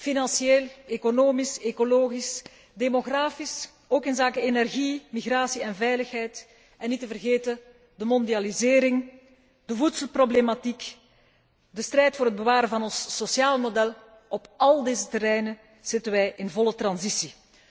Financieel, economisch, ecologisch, demografisch, ook inzake energie, migratie en veiligheid en niet te vergeten de mondialisering, de voedselproblematiek, de strijd voor het bewaren van ons sociale model, op al deze terreinen zitten wij in volle transitie.